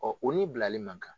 Ɔ u ni bilali man kan.